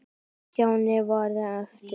En Stjáni varð eftir.